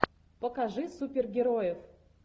покажи супергероев